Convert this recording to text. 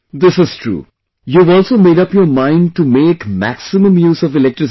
This is true, you have also made up your mind to make maximum use of electricity